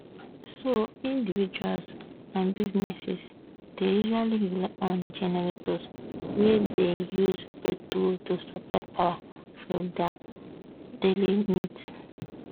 so individuals and businesses dey usually rely on generators wey dey use petrol to supply power for dia daily needs